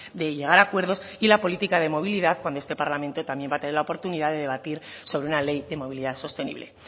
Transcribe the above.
de llegar a acuerdos y la política de movilidad con este parlamento también va a tener la oportunidad de debatir sobre una ley de movilidad sostenible